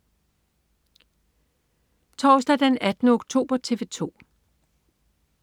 Torsdag den 18. oktober - TV 2: